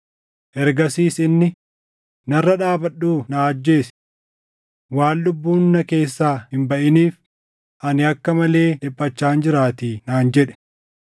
“Ergasiis inni, ‘Narra dhaabadhuu na ajjeesi! Waan lubbuun na keessaa hin baʼiniif ani akka malee dhiphachaan jiraatii’ naan jedhe.